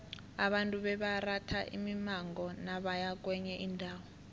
abantu bebaratha imimango nabaya kwenye indawo